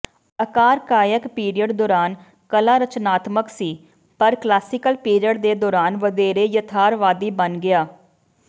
archaic period ਦੌਰਾਨ ਕਲਾ ਰਚਨਾਤਮਕ ਸੀ ਪਰ ਕਲਾਸੀਕਲ ਪੀਰੀਅਡ ਦੇ ਦੌਰਾਨ ਵਧੇਰੇ ਯਥਾਰਥਵਾਦੀ ਬਣ ਗਿਆ